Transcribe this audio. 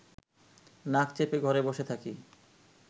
নাক চেপে ঘরে বসে থাকি